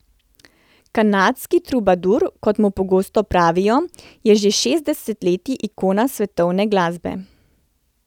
Kanadski trubadur, kot mu pogosto pravijo, je že šest desetletij ikona svetovne glasbe.